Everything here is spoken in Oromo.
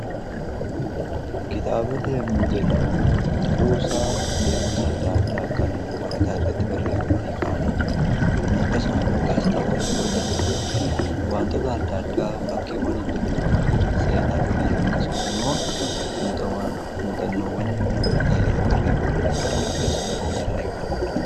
Kitaabota yommuu jennuu kuusaa beekumsa adda addaa kan waraqaa irratti barreeffamanii ka'aniidha. Akkasuma immoo gaazixaawwan yeroo jennu waantoota adda addaa fakkiiwwan hin deggiramanii seenaa duriif akkasumas ammoo muuxannowwan namoota yeroo barreeffamanii kaan gaazexaawwan jennee waamna.